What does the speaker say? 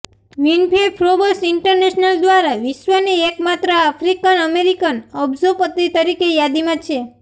Winfrey Forbes international દ્વારા વિશ્વની એકમાત્ર આફ્રિકન અમેરિકન અબજોપતિ તરીકે યાદીમાં છે